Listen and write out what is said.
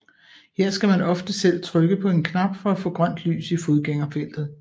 Her skal man ofte selv trykke på en knap for at få grønt lys i fodgængerfeltet